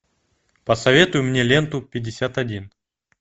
посоветуй мне ленту пятьдесят один